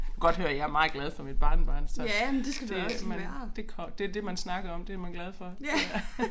Godt høre jeg meget glad for mit barnebarn så det men det det det man snakker om det man glad for ja